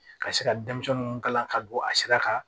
Ka se ka denmisɛnninw kalan ka don a sira kan